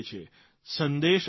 સંદેશ આપીએ છીએ